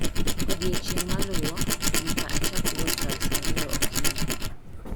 Odiechieng' maluwo, nyaka achak wuoth kar sa ariyo okinyi.